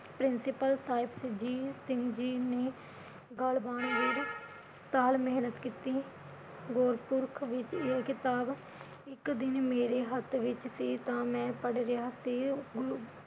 principle Sahib Singh ji ਨੇ ਗੱਲ ਸਾਲ ਮੇਹਨਤ ਕੀਤੀ ਗੁਰਪੁਰਖ ਵਿਚ ਇਹ ਕਿਤਾਬ ਇਕ ਦਿਨ ਮੇਰੇ ਹੱਥ ਵਿਚ ਸੀ ਤਾ ਮੈਂ ਪੜ੍ਹ ਰਿਹਾ ਸੀ